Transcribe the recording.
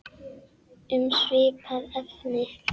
Um svipað efni